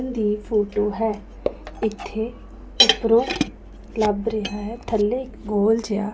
ਦੀ photo ਹੈ ਇੱਥੇ ਕਿੱਧਰੇ ਲੱਭ ਰਿਹਾ ਹੈ ਥੱਲੇ ਗੋਲ ਜਿਹਾ--